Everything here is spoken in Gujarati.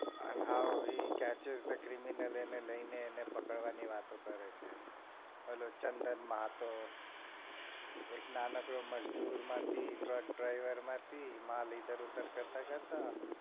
And how he catches the criminal એને લઈને પકડવાની વાતો કરે છે ઓલું ચંદન માં હતો એક નાનકડો મજદૂર માંથી truck driver માંથી માલ ઇધર ઉધર કરતા કરતા